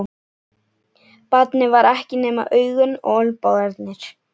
Barnið var ekkert nema augun og olnbogarnir.